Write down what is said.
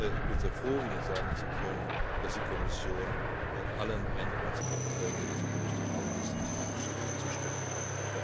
Ich bin sehr froh, Ihnen sagen zu können, dass die Kommission allen Änderungsanträgen des Berichterstatters, Herrn Csibi, zustimmen kann.